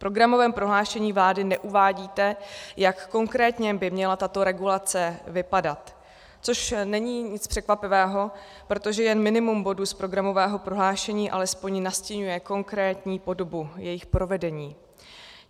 V programovém prohlášení vlády neuvádíte, jak konkrétně by měla tato regulace vypadat, což není nic překvapivého, protože jen minimum bodů z programového prohlášení alespoň nastiňuje konkrétní podobu jejich provedení.